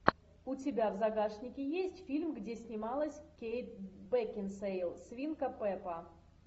у тебя в загашнике есть фильм где снималась кейт бекинсейл свинка пеппа